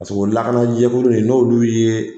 Paseke o lakanajɛkulu in n'olu' ye.